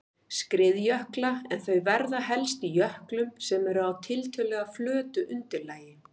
skriðjökla en þau verða helst í jöklum sem eru á tiltölulega flötu undirlagi.